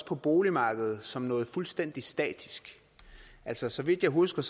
på boligmarkedet som noget fuldstændig statisk altså så vidt jeg husker